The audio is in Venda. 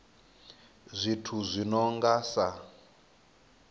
zwithu zwi no nga sa